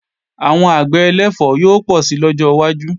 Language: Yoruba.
Àwọn àgbẹ̀ ẹlẹ̀fọ́ yóò pọ̀ si lọ́jọ́ wájú